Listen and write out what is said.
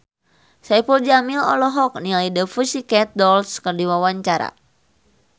Saipul Jamil olohok ningali The Pussycat Dolls keur diwawancara